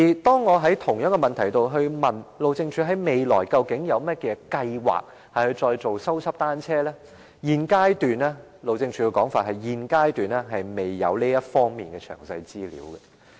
當我就同一問題詢問路政署，未來有甚麼計劃繼續修葺單車徑，路政署的說法是現階段未有這方面的詳細資料。